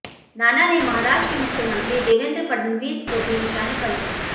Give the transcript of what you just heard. नाना ने महाराष्ट्र के मुख्यमंत्री देवेन्द्र फडनवीस को भी निशाने पर लिया